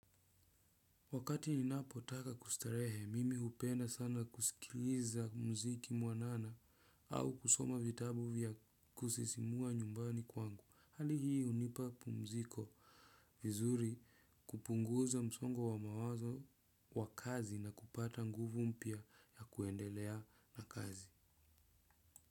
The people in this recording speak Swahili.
Wakati ninapotaka kustarehe mimi hupenda sana kusikiliza muziki mwanana au kusoma vitabu vya kusisimua nyumbani kwangu. Hali hii hunipa pumziko vizuri kupunguza msongo wa mawazo wa kazi na kupata nguvu mpya ya kuendelea na kazi.